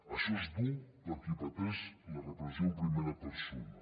això és dur per qui pateix la repressió en primera persona